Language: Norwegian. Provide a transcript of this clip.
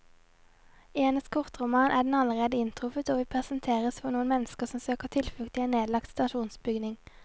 I hennes kortroman er den allerede inntruffet, og vi presenteres for noen mennesker som søker tilflukt i en nedlagt stasjonsbygning.